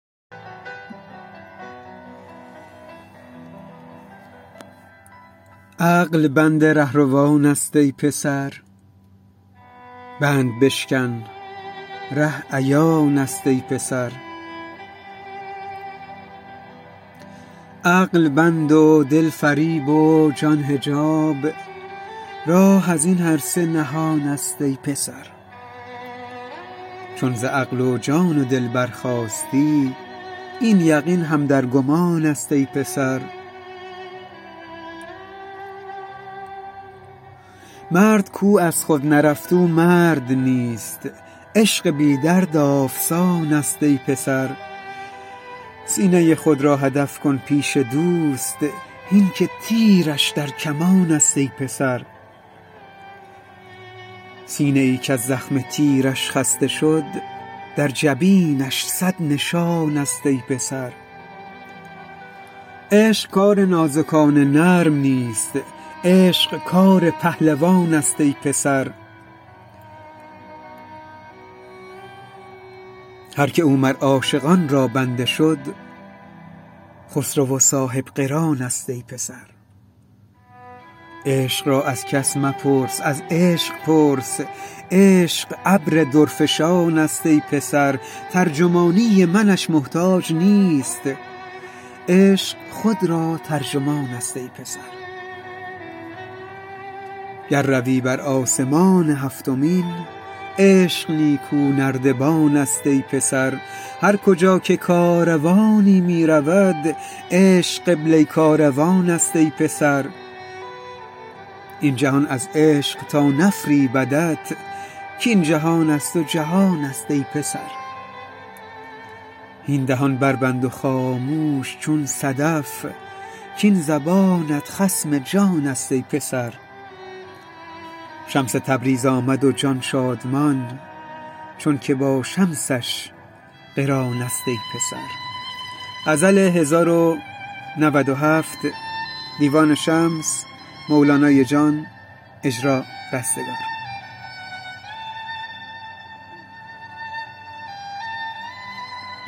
عقل بند رهروانست ای پسر بند بشکن ره عیانست ای پسر عقل بند و دل فریب و جان حجاب راه از این هر سه نهانست ای پسر چون ز عقل و جان و دل برخاستی این یقین هم در گمانست ای پسر مرد کو از خود نرفت او مرد نیست عشق بی درد آفسانست ای پسر سینه خود را هدف کن پیش دوست هین که تیرش در کمانست ای پسر سینه ای کز زخم تیرش خسته شد در جبینش صد نشانست ای پسر عشق کار نازکان نرم نیست عشق کار پهلوانست ای پسر هر کی او مر عاشقان را بنده شد خسرو و صاحب قرانست ای پسر عشق را از کس مپرس از عشق پرس عشق ابر درفشانست ای پسر ترجمانی منش محتاج نیست عشق خود را ترجمانست ای پسر گر روی بر آسمان هفتمین عشق نیکونردبانست ای پسر هر کجا که کاروانی می رود عشق قبله کاروانست ای پسر این جهان از عشق تا نفریبدت کاین جهان از تو جهانست ای پسر هین دهان بربند و خامش چون صدف کاین زبانت خصم جانست ای پسر شمس تبریز آمد و جان شادمان چونک با شمسش قرانست ای پسر